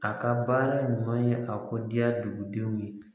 A ka baara ɲuman ye a ko diya dugudenw ye